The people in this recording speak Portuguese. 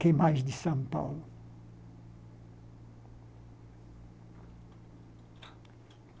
O que mais de São Paulo?